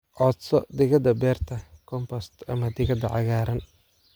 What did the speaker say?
Codso digada beerta, compost, ama digada cagaaran."